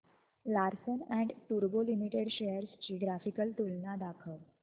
Larsen and टुर्बो limited shares ची graphical तुलना दाखव